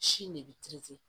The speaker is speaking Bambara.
Si ne bɛ